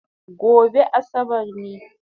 Gobe Asabar ne